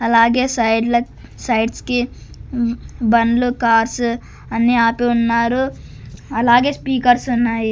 అలాగే సైడ్ల క్ సైడ్స్ కి బండ్లు కార్సు అన్ని ఆపి ఉన్నారు అలాగే స్పీకర్స్ ఉన్నాయి.